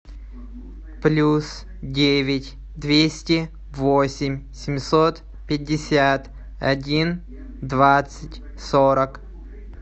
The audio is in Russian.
плюс девять двести восемь семьсот пятьдесят один двадцать сорок